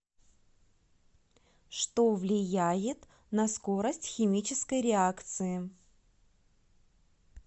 что влияет на скорость химической реакции